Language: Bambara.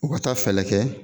U ka taa fɛɛlɛ kɛ